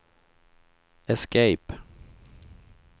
escape